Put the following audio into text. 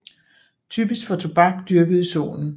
Typisk for tobak dyrket i solen